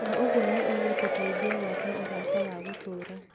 Na ũguo nĩ ũgũtũteithia gwaka ũrata wa gũtũũra.